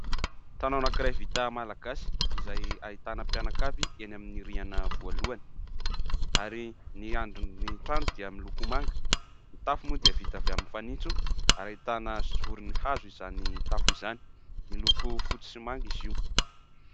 Trano anankiray vita malagasy izay ahitana mpianakavy eny amin'ny rihana voalohany ary ny andrin'ny trano dia miloko manga. Ny tafo moa dia vita avy amin'ny fanitso ary ahitana zorony hazo izany tafo izany, miloko fotsy sy manga izy io.